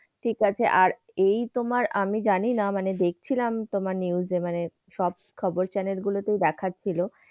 ঠিক আছে। আর এই তোমার আমি জানি না মানে দেখছিলাম তোমার news এ মানে সব খবর channel গুলোতেই দেখাচ্ছিল।